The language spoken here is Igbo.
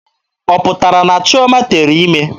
Ọ pụtara na Chioma tere ime?